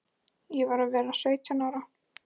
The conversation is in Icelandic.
Ég var að verða sautján ára.